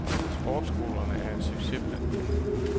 Sportsskolerne er en succes blandt unge.